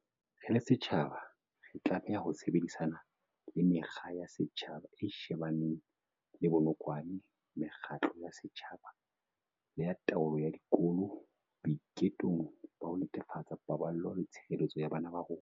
Re le setjhaba, re tlameha ho sebedisana le Mekga ya Setjhaba e shebaneng le Bonokwane mekgatlo ya setjhaba le ya taolo ya dikolo boitekong ba ho netefatsa paballo le tshireletso ya bana ba rona.